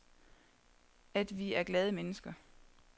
At vi er glade mennesker.